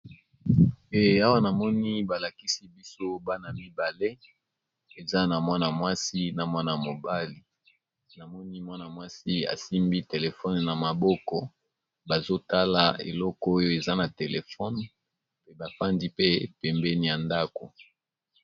Eh awa namoni ba lakisi biso bana mibale eza na mwana mwasi na mwana mobali, na moni mwana mwasi asimbi telephone na maboko bazo tala eloko oyo eza na téléphone pe bafandi pe pembeni ya ndako.